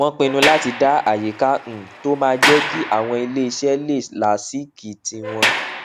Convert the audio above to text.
wón pinnu láti dá àyíká um tó máa jé kí àwọn ilé iṣé lè láásìkí tí wón